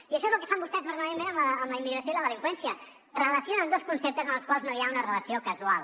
i això és el que fan vostès permanentment amb la immigració i la delinqüència relacionen dos conceptes entre els quals no hi ha una relació causal